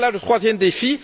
Voilà le troisième défi.